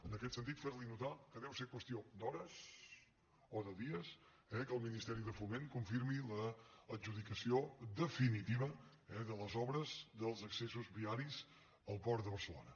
en aquest sentit fer li notar que deu ser qüestió d’hores o de dies eh que el ministeri de foment confirmi l’adjudicació definitiva de les obres dels accessos viaris al port de barcelona